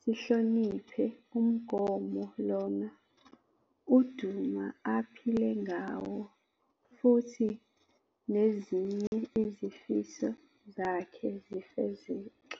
sihloniphe umgomo lona uDuma aphile ngawo futhi nezinye izifiso zakhe zifezeke.